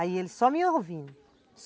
Aí eles só me ouvindo.